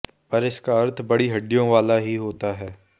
पर इसका अर्थ बड़ी हड्डियों वाला ही होता है